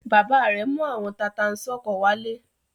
Bàbá rẹ̀ mú àwọn tata-n-sánkọ wálé.